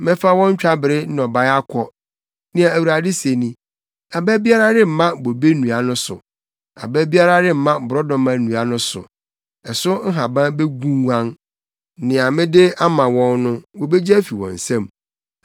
“ ‘Mɛfa wɔn twabere nnɔbae akɔ, nea Awurade se ni. Aba biara remma bobe nnua no so. Aba biara remma borɔdɔma nnua no so, ɛso nhaban begunguan. Nea mede ama wɔn no, wobegye afi wɔn nsam.’ ”